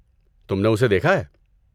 تم نے اسے دیکھا ہے؟